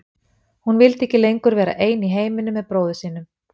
Hún vildi ekki lengur vera ein í heiminum með bróður sínum.